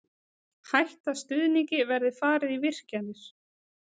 Hætta stuðningi verði farið í virkjanir